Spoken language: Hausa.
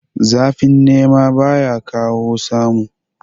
Zafin nema baya kawo samu